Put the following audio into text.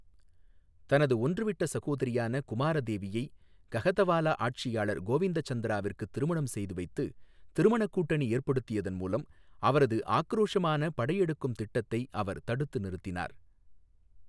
தனது ஒன்று விட்ட சகோதரியான குமாரதேவியை கஹதவாலா ஆட்சியாளர் கோவிந்தச்சந்திராவிற்கு திருமணம் செய்து வைத்து திருமண கூட்டணி ஏற்படுத்தியதன் மூலம் அவரது ஆக்கிரோஷமான படையெடுக்கும் திட்டத்தை அவர் தடுத்து நிறுத்தினார்.